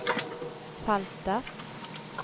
feltet